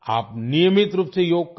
आप नियमित रूप से योग करें